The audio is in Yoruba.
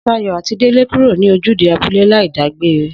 Sayò àti Délé kúrò ní ojúde abúlé láì dágbére